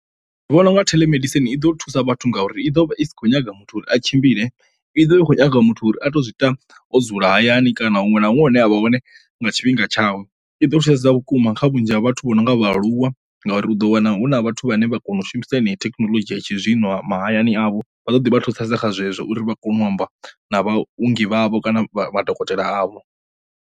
Ndi vhona unga theḽomedisini i ḓo thusa vhathu ngauri i ḓo vha i sa kho nyaga muthu uri a tshimbile i ḓo i khou nyaga muthu uri a to zwi ita wo dzula hayani kana huṅwe na huṅwe hune avha hone nga tshifhinga tshawe. I ḓo thusedza vhukuma kha vhunzhi zwa vhathu vho no nga vhaaluwa ngauri u ḓo wana huna vhathu vhane vha kona u shumisa heneyo thekhinolodzhi ya tshizwino ha mahayani avho vha ḓo ḓi vha thusedza kha zwezwo uri vha kone u amba na vhaunḓi vhavho kana vha madokotela a vho.